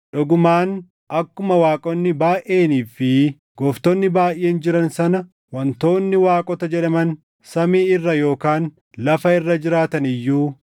Dhugumaan akkuma waaqonni baayʼeenii fi gooftonni baayʼeen jiran sana wantoonni waaqota jedhaman samii irra yookaan lafa irra jiraatan iyyuu,